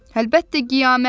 Əlbəttə qiyamətdir!